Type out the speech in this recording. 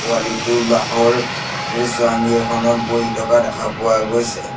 পোৱালীটো বাঁহৰ চাঙি এখনত বহি থকা দেখা পোৱা গৈছে।